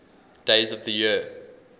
days of the year